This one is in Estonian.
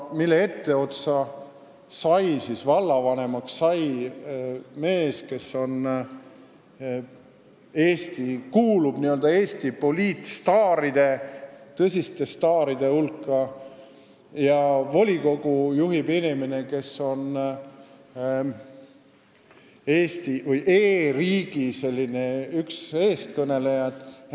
Selle etteotsa, vallavanemaks on saanud mees, kes kuulub Eesti poliitstaaride, tõsiste staaride hulka, ja selle volikogu juhib inimene, kes on e-riigi üks eestkõnelejaid.